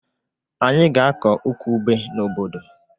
Anyị ga-akọ ukwu ube n'obodo